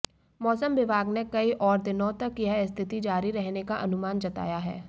मौसम विभाग ने कई और दिनों तक यह स्थिति जारी रहने का अनुमान जताया है